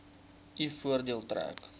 u voordeel trek